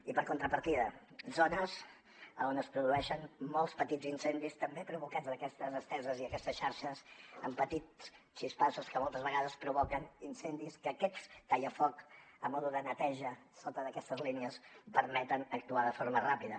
i per contrapartida zones on es produeixen molts petits incendis també provocats d’aquestes esteses i aquestes xarxes han patit xispassos que moltes vegades provoquen incendis que aquest tallafoc a mode de neteja a sota d’aquestes línies permet actuarhi de forma ràpida